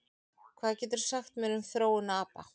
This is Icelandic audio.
Hvað geturðu sagt mér um þróun apa?